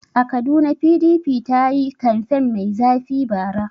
A Kaduna PDP ta yi kamfen mai zafi bara.